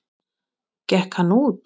Gekk hann út.